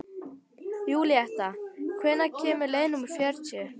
Júlíetta, hvenær kemur leið númer fjörutíu?